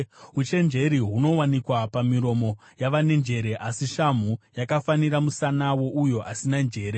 Uchenjeri hunowanikwa pamiromo yavane njere, asi shamhu yakafanira musana wouyo asina njere.